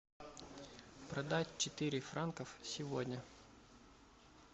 продать четыре франков сегодня